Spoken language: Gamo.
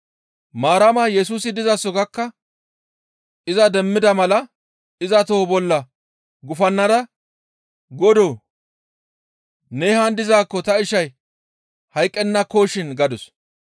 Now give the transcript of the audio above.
Maarama Yesusi dizaso gakka iza demmida mala iza toho bolla gufannada, «Godoo! Ne haan dizaakko ta ishay hayqqennakoshin» gadus.